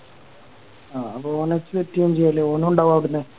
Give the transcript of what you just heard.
ആ അപ്പൊ ഓനെ ചെയ ഓനുണ്ടാവും അവിട്ന്ന്